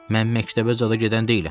Mən məktəbə zada gedən deyiləm.